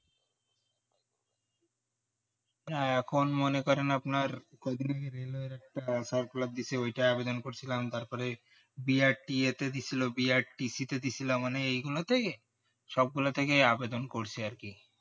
এখন মনে করেন আপনার রেলের একটা railway circular দিয়েছে ওটা আবেদন করেছিলাম তারপরে BRTA তে দিয়েছিলো BRTC তে দিয়েছিলাম মানে এগুলাতে সবগুলা থেকেই আবেদন করছি আর কি